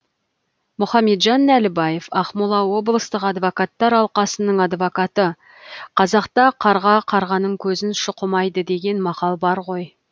мұхамеджан нәлібаев ақмола облыстық адвокаттар алқасының адвокаты қазақта қарға қарғаның көзін шұқымайды деген мақал бар ғой